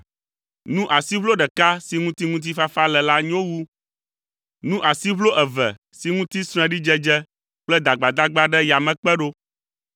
Nu asiʋlo ɖeka si ŋuti ŋutifafa le la nyo wu nu asiʋlo eve si ŋuti sreɖidzedze kple dagbadagba ɖe yame kpe ɖo.